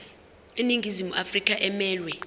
iningizimu afrika emelwe